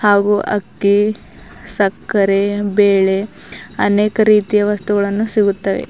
ಹಾಗು ಅಕ್ಕಿ ಸಕ್ಕರೆ ಬೇಳೆ ಅನೇಕ ರೀತಿಯ ವಸ್ತುಗಳನ್ನು ಸಿಗುತ್ತವೆ.